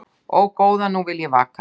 Ó, góða nú vil ég vaka